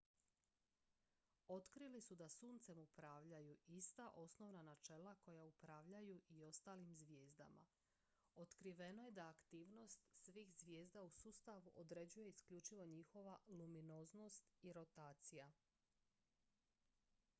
otkrili su da suncem upravljaju ista osnovna načela koja upravljaju i ostalim zvijezdama otkriveno je da aktivnost svih zvijezda u sustavu određuje isključivo njihova luminoznost i rotacija